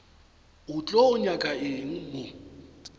o tlo nyaka eng mo